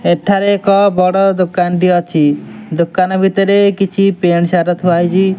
ଏଠାରେ ଏକ ବଡ ଦୋକାନ ଟି ଅଛି ଦୋକାନ ଭିତରେ କିଛି ପେଣ୍ଟ୍ ସାର୍ଟ ଥୁଆହେଇଚି ।